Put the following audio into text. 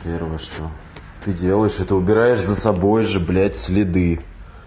первое что ты делаешь это убираешь за собой же блять следы